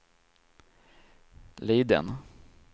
Liden